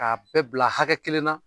A bɛɛ bila hakɛ kelen na